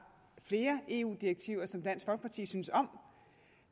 flere eu direktiver som dansk folkeparti synes om